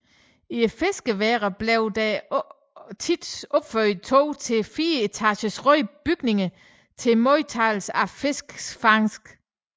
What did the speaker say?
I fiskeværene blev der ofte opført to til fire etagers røde bygninger til modtagelsen af fiskernes fangst